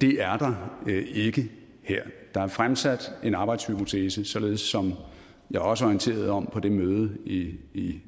det er der ikke her der er fremsat en arbejdshypotese således som jeg også orienterede om på mødet i i